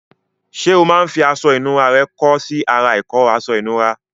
Ṣé o máa ń fi aṣọ ìnura rẹ kọ́ sí ara ìkọ́ aṣọ ìnura?